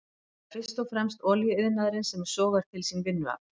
Það er fyrst og fremst olíuiðnaðurinn sem sogar til sín vinnuafl.